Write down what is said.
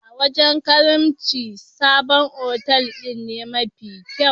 A wajen karimci, sabon otal din ne mafi kyau.